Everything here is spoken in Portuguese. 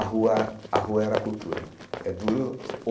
A rua a rua era a cultura é duro.